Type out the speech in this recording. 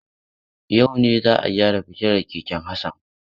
Yau ne za a gyara fitilar keken Hassan.